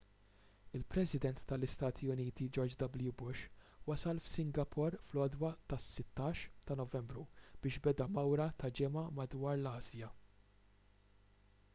il-president tal-istati uniti george w bush wasal f'singapore fl-għodwa tas-16 ta' novembru biex beda mawra ta' ġimgħa madwar l-asja